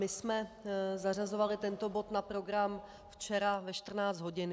My jsme zařazovali tento bod na program včera ve 14 hodin.